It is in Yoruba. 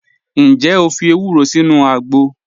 Njẹ́ o fi èwùró sínu àgbọ̀?